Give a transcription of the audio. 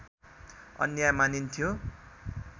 अन्याय मानिन्थ्यो